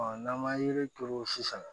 n'an man yiri turu sisan